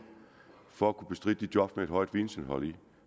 for at kunne bestride job med et højt videnindhold